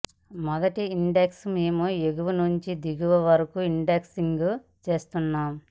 మొదటి ఇండెక్స్ మేము ఎగువ నుండి దిగువ వరకు ఇండెక్సింగ్ చేస్తున్నాం